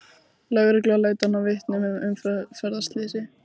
Lögreglan leitar að vitnum að umferðarslysi